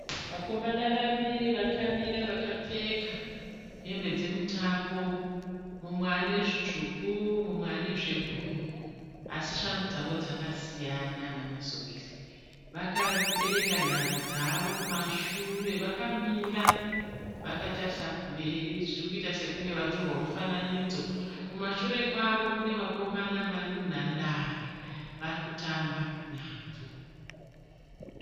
Vakomana vaviri vakamira vakapfeka hembe dzemutambo mumwe ane zvitsvuku mumwe ane zvebhuruu asi shangu dzavo dzakasiyana namasokisi vakabereka nhava dzavo kumashure vakamira vakatarisa kumberi zviri kuita sekunge vari kutorwa mufananidzo kumashure kwavo kune vakomana vari munhandare vari kutamba nhabvu.